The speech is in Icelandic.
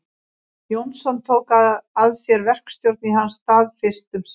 Jónsson tók að sér verkstjórn í hans stað fyrst um sinn.